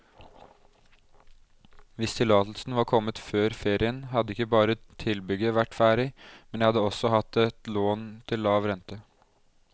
Hvis tillatelsen var kommet før ferien, hadde ikke bare tilbygget vært ferdig, men jeg hadde også hatt et lån til lav rente.